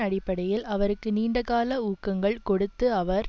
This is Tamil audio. அடிப்படையில் அவருக்கு நீண்ட கால ஊக்கங்கள் கொடுத்து அவர்